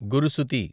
గురుసుతి